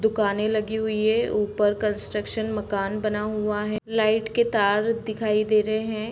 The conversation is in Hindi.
दुकानें लगी हुई हैं ऊपर कंस्ट्रक्शन मकान बना हुआ है लाइट के तार दिखाई दे रहे हैं।